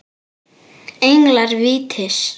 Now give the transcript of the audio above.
Englar vítis